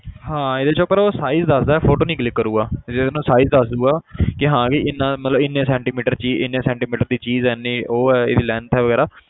ਹਾਂ ਇਹਦੇ 'ਚ ਪਰ ਉਹ size ਦੱਸਦਾ photo ਨੀ click ਕਰੇਗਾ ਤੇ ਜਿਵੇਂ ਨਾ size ਦੱਸ ਦਊਗਾ ਕਿ ਹਾਂ ਕਿ ਇੰਨਾ ਮਤਲਬ ਇੰਨੇ ਸੈਟੀਮੀਟਰ ਦੀ ਇੰਨੇ ਸੈਟੀਂਮੀਟਰ ਦੀ ਚੀਜ਼ ਹੈ ਇੰਨੀ ਉਹ ਹੈ length ਵਗ਼ੈਰਾ